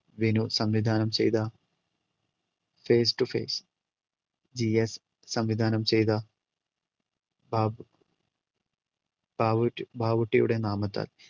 വിനു സംവിധാനം ചെയ്ത face to face GS സംവിധാനംചെയ്ത ബാബ് ബാവൂട്ടി~ബാവൂട്ടിയുടെ നാമത്തിൽ